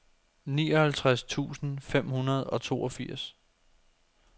nioghalvtreds tusind fem hundrede og toogfirs